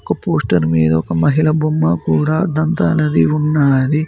క పోస్టర్ మీద ఒక మహిళ బొమ్మ కూడా దంతా నది ఉన్నది.